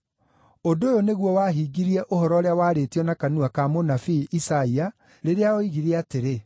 Ũndũ ũyũ nĩguo wahingirie ũhoro ũrĩa waarĩtio na kanua ka mũnabii Isaia, rĩrĩa oigire atĩrĩ: